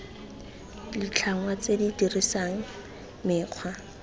ditlhangwa tse di dirisang mekgwa